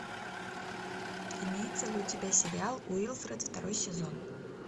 имеется ли у тебя сериал уилфред второй сезон